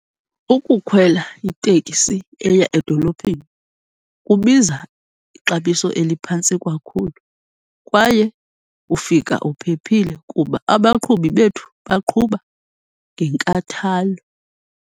Ukukhwela iteksi eya edolophini kubiza ixabiso eliphantsi kakhulu kwaye ufika uphephile kuba abaqhubi bethu baqhuba ngenkathalo.